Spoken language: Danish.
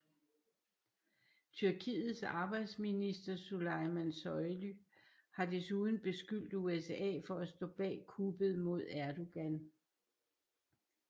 Tyrkiets arbejdsminister Suleyman Soylu har desuden beskyldt USA for at stå bag kuppet mod Erdoğan